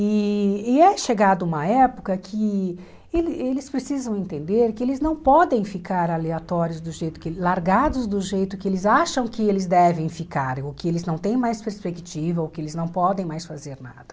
E e é chegado uma época que ele eles precisam entender que eles não podem ficar aleatórios do jeito que, largados do jeito que eles acham que eles devem ficar, ou que eles não têm mais perspectiva, ou que eles não podem mais fazer nada.